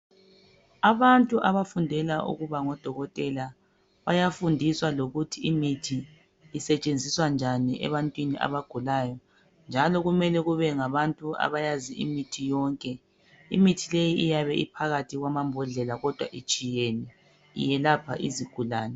abantu abafundela ukuba ngo dokotela bayafundiswa lokuthi imithi isetshenziswa njani ebantwini abagulayo njalo kumele kube ngabantu abayaziyo imithi yonke imithi leyi iyabe iphakathi kwamambodlela kodwa itshiyene iyelapha izigulane